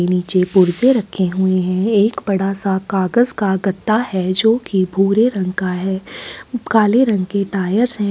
नीचे पुर्जे रखे हुए है एक बड़ा-सा कागज़ का गत्ता है जोकि भूरे रंग का है काले रंग के टायर्स है ।